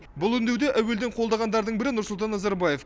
бұл үндеуді әуелден қолдағандардың бірі нұрсұлтан назарбаев